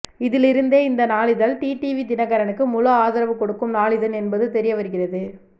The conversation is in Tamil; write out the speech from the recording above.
இதிலிருந்தே இந்த நாளிதழ் டிடிவி தினகரனுக்கு முழு ஆதரவு கொடுக்கும் நாளிதழ் என்பது தெரிய வருகிறது